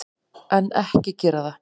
En, ekki gera það!